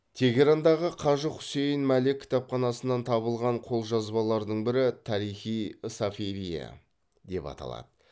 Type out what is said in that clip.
тегерандағы қажы хусейн малек кітапханасынан табылған қолжазбалардың бірі тарихи сафавие деп аталады